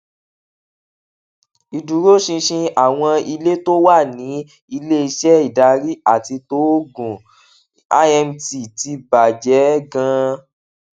ìdúróṣinṣin àwọn ilé tó wà ní ileiṣẹ ìdarí àti tóògùn imt ti bà jé ganan